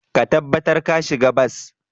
Ka tabbatar ka shiga bas.